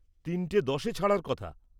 তিনটে দশে ছাড়ার কথা।